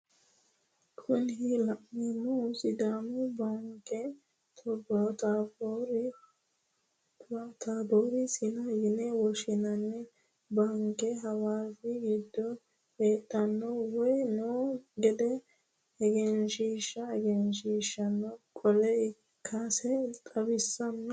Kuni la'neemohu sidaamu baanke taboori sina yine woshinanni baanke hawasi giddo hedhanno woye noo gede egensiisannonke ekgenshiishshu qoola ikkasi xawisanno.